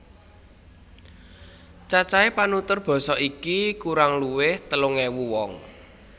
Cacahé panutur basa iki kurang luwih telung ewu wong